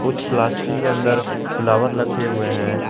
कुछ प्लास्टिक के अंदर फ्लॉवर लगे हुए हैं।